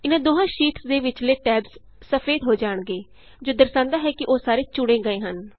ਇਹਨਾਂ ਦੋਹਾਂ ਸ਼ੀਟਸ ਦੇ ਵਿਚਲੇ ਟੈਬਸ ਸਫੇਦ ਹੋ ਜਾਣਗੇ ਜੋ ਦਰਸਾਂਦਾ ਹੈ ਕਿ ਉਹ ਸਾਰੇ ਚੁਣੇ ਗਏ ਹਨ